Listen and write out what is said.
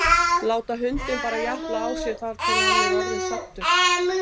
Láta hundinn bara japla á sér þar til hann er orðinn saddur?